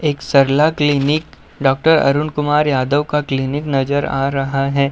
एक Sarla clinic doctor Arun Kumar Yadav का clinic नज़र आ रहा है।